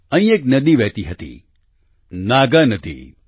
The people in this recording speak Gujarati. અહીં એક નદી વહેતી હતી નાગાનધી